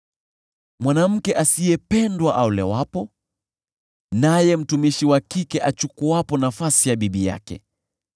mwanamke asiyependwa aolewapo, naye mtumishi wa kike achukuapo nafasi ya bibi yake.